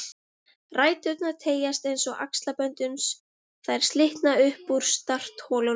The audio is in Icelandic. Ræturnar teygjast eins og axlabönd uns þær slitna upp úr startholunum